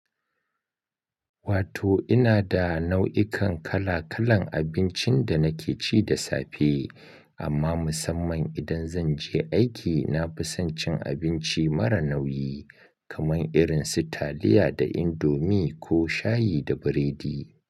Wato ina da nau'ikan kala-kalan abincin da nake ci da safe, amma musamman idan zan je aiki, na fi son cin abinci mara nauyi, kamar irin su taliya da indomie ko shayi da biredi.